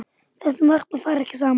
Þessi markmið fara ekki saman.